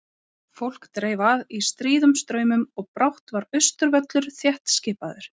Fólk dreif að í stríðum straumum og brátt var Austurvöllur þéttskipaður.